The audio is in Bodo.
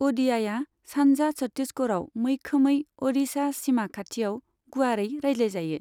अ'डियाया सानजा छत्तीसगढ़आव, मैखोमै अ'डिशा सीमा खाथियाव गुवारै रायज्लायजायो।